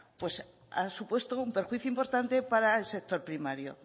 ha supuesto un perjuicio importante para el sector primario